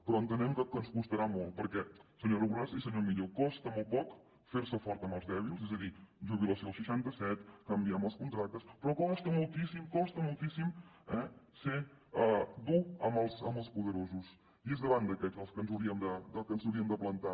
però entenem que ens costarà molt perquè senyora borràs i senyor millo costa molt poc fer se fort amb els dèbils és a dir jubilació als seixantaset canviem els contractes però costa moltíssim costa moltíssim ser dur amb els poderosos i és davant d’aquests que ens hauríem de plantar